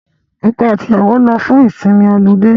Ọkọ àti ìyàwó lọ fún ìsinmi ọlidé